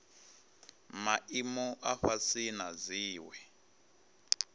maimo a fhasi na dziwe